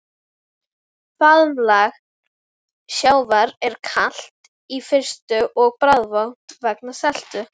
Faðmlag sjávar er kalt í fyrstu og bragðvont vegna seltu.